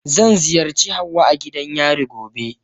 Zan ziyarci Hauwa a gidan yari gobe.